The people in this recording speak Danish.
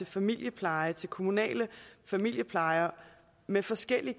familiepleje til kommunal familiepleje med forskellige